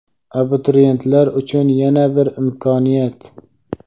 Abituriyentlar uchun yana bir imkoniyat.